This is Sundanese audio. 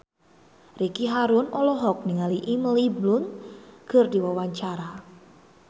Ricky Harun olohok ningali Emily Blunt keur diwawancara